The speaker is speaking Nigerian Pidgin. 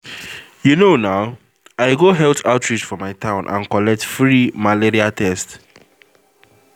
you know now i go health outreach for my town and collect free malaria test